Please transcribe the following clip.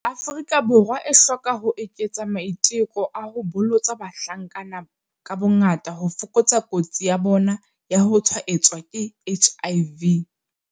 Afrika Borwa e hloka ho eketsa maiteko a ho bolotsa bahlankana ka bongaka ho fokotsa kotsi ya bona ya ho tshwaetswa ke HIV.